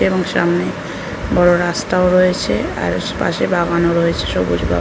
এবং সামনে বড়ো রাস্তাও রয়েছে আর পশ পাশে বাগানও রয়েছে সবুজ বাগা--